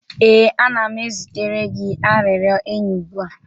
ee, ana m ezitere gị arịrịọ enyi ugbu a.